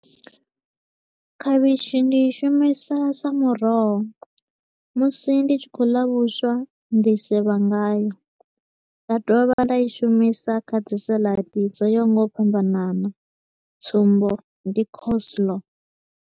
Khavhishi ndi i shumisa sa muroho musi ndi tshi kho u ḽa vhuswa ndi sevha ngayo, nda dovha nda i shumisa kha dzi salad dzo yaho nga u fhambanana tsumbo, ndi coleslaw.